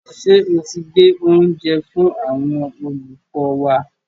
Ṣé o ti gbé oúnjẹ fún àwọn olùkọ́ wa?